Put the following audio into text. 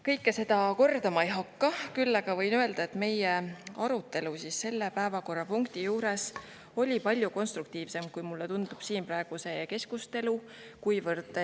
Kõike seda kordama ei hakka, küll aga võin öelda, et meie arutelu selle päevakorrapunkti juures oli palju konstruktiivsem, kui mulle tundub siin praegu see keskustelu.